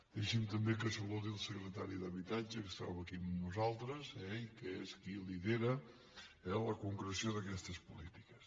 deixi’m també que saludi el secretari d’habitatge que es troba aquí amb nosaltres eh i que és qui lidera la concreció d’aquestes polítiques